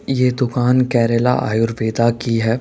ये दुकान केरला आयुर्वेदा की है।